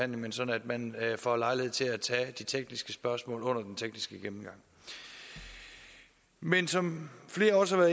men sådan at man får lejlighed til at tage de tekniske spørgsmål under den tekniske gennemgang men som flere også har